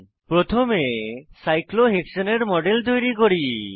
প্রথমে সাইক্লোহেক্সানে সাইক্লোহেক্সেন এর মডেল তৈরি করি